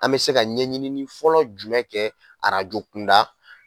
An bɛ se ka ɲɛɲini fɔlɔ jumɛn kɛ arajo kunda